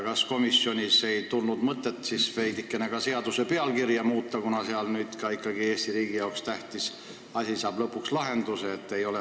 Kas komisjonis ei tulnud mõtet veidikene ka seaduse pealkirja muuta, kuna nüüd ikkagi saab Eesti riigi jaoks tähtis asi lõpuks lahenduse?